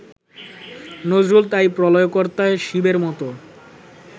নজরুল তাই প্রলয়কর্তা, শিবের মতো